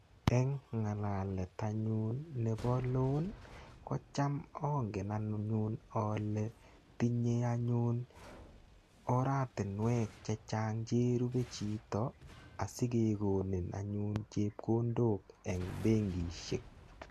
Eng ngalalet anyun nebo cs] loan ko cham angen anyun ale tinyei anyun oratunwek chechang cherube chito asikekonin anyun chepkondok eng benkishek.